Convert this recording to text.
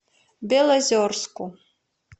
белозерску